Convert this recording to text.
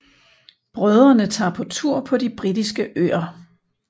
Brødrene tager på tur på de britiske øer